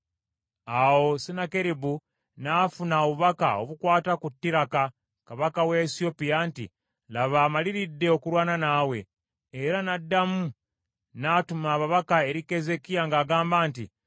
Awo Sennakeribu n’afuna obubaka obukwata ku Tiraka kabaka w’e Esiyopya nti, “Laba amaliridde okulwana naawe,” era n’addamu n’atuma ababaka eri Keezeekiya ng’agamba nti,